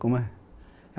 Como é?